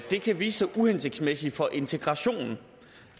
det kan vise sig uhensigtsmæssigt for integrationen